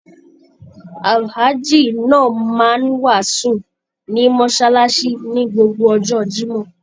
Alhaji náà máa n wàásù ní mọsálásí ní gbogbo ọjọ́ Jimoh.